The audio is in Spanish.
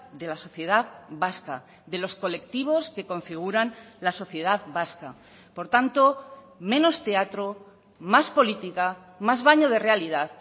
de la sociedad vasca de los colectivos que configuran la sociedad vasca por tanto menos teatro más política más baño de realidad